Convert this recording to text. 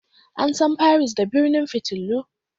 An san Paris da birnin fitilu.